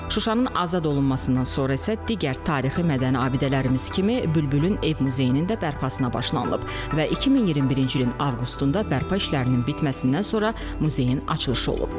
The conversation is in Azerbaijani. Şuşanın azad olunmasından sonra isə digər tarixi mədəni abidələrimiz kimi Bülbülün ev muzeyinin də bərpasına başlanılıb və 2021-ci ilin avqustunda bərpa işlərinin bitməsindən sonra muzeyin açılışı olub.